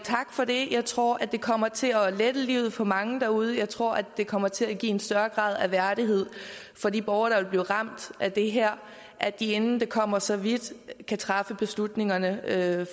for det jeg tror det kommer til at lette livet for mange derude og jeg tror det kommer til at give en større grad af værdighed for de borgere der vil blive ramt af det her at de inden det kommer så vidt kan træffe beslutningerne